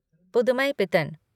पुदमईपीतन